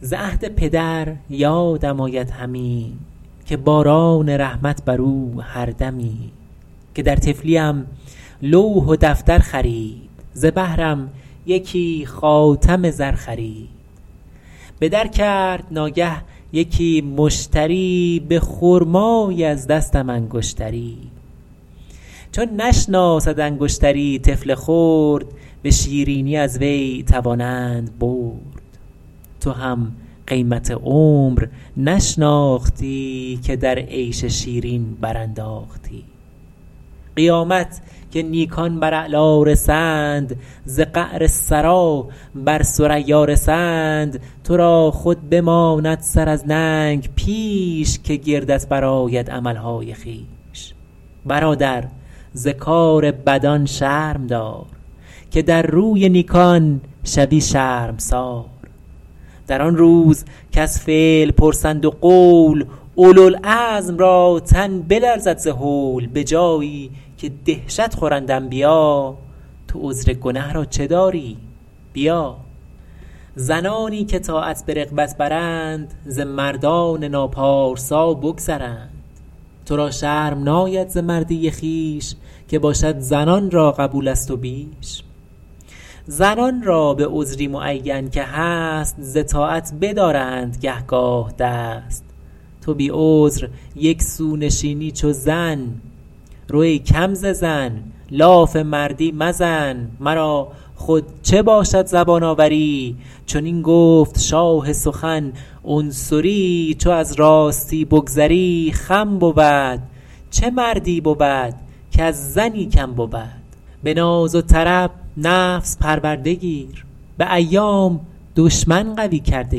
ز عهد پدر یادم آید همی که باران رحمت بر او هر دمی که در طفلیم لوح و دفتر خرید ز بهرم یکی خاتم زر خرید به در کرد ناگه یکی مشتری به خرمایی از دستم انگشتری چو نشناسد انگشتری طفل خرد به شیرینی از وی توانند برد تو هم قیمت عمر نشناختی که در عیش شیرین برانداختی قیامت که نیکان بر اعلا رسند ز قعر ثری بر ثریا رسند تو را خود بماند سر از ننگ پیش که گردت برآید عملهای خویش برادر ز کار بدان شرم دار که در روی نیکان شوی شرمسار در آن روز کز فعل پرسند و قول اولوالعزم را تن بلرزد ز هول به جایی که دهشت خورند انبیا تو عذر گنه را چه داری بیا زنانی که طاعت به رغبت برند ز مردان ناپارسا بگذرند تو را شرم ناید ز مردی خویش که باشد زنان را قبول از تو بیش زنان را به عذری معین که هست ز طاعت بدارند گه گاه دست تو بی عذر یک سو نشینی چو زن رو ای کم ز زن لاف مردی مزن مرا خود چه باشد زبان آوری چنین گفت شاه سخن عنصری چو از راستی بگذری خم بود چه مردی بود کز زنی کم بود به ناز و طرب نفس پرورده گیر به ایام دشمن قوی کرده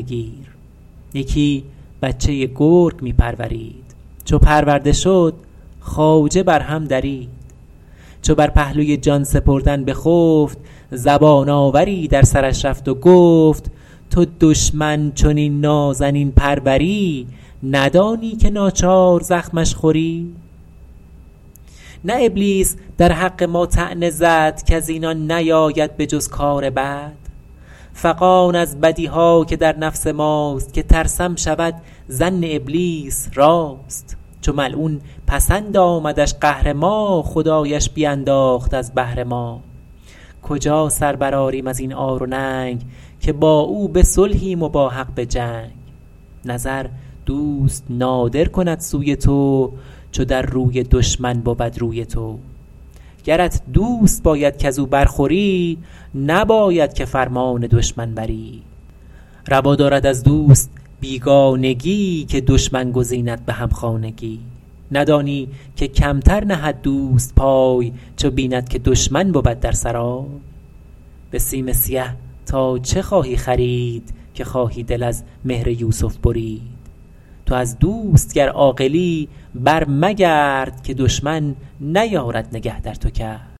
گیر یکی بچه گرگ می پرورید چو پرورده شد خواجه بر هم درید چو بر پهلوی جان سپردن بخفت زبان آوری در سرش رفت و گفت تو دشمن چنین نازنین پروری ندانی که ناچار زخمش خوری نه ابلیس در حق ما طعنه زد کز اینان نیاید به جز کار بد فغان از بدیها که در نفس ماست که ترسم شود ظن ابلیس راست چو ملعون پسند آمدش قهر ما خدایش بینداخت از بهر ما کجا سر برآریم از این عار و ننگ که با او به صلحیم و با حق به جنگ نظر دوست نادر کند سوی تو چو در روی دشمن بود روی تو گرت دوست باید کز او بر خوری نباید که فرمان دشمن بری روا دارد از دوست بیگانگی که دشمن گزیند به همخانگی ندانی که کمتر نهد دوست پای چو بیند که دشمن بود در سرای به سیم سیه تا چه خواهی خرید که خواهی دل از مهر یوسف برید تو از دوست گر عاقلی بر مگرد که دشمن نیارد نگه در تو کرد